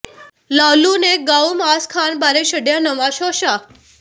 ਲਾਲੂ ਨੇ ਗਊ ਮਾਸ ਖਾਣ ਬਾਰੇ ਛੱਡਿਆ ਨਵਾਂ ਸ਼ੋਸ਼ਾ